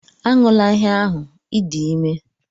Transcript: Aṅụla ihe ahụ!, ị dị ime